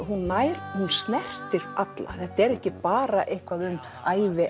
hún snertir alla þetta er ekki bara eitthvað um ævi